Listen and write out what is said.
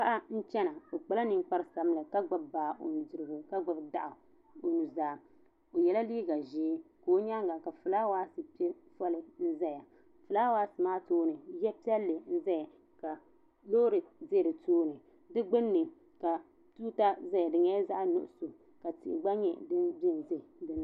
Paɣa n gbubi o baa bɛ yili dundɔŋ ni baa maa nyɛla ŋun zinli yina paɣa maa kpa la ninkpara yili za bi nyaanga ka filaawa nima zaya tihi bɛni loori gba bɛni ka bi ti tanti ka di nyɛ zaɣa buluu.